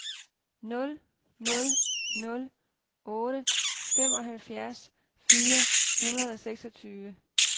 nul nul nul otte femoghalvfjerds fire hundrede og seksogtyve